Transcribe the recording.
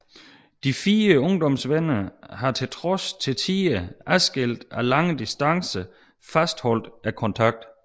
De fire ungdomsvenner har trods til tider adskilt af lange distancer fastholdt kontakten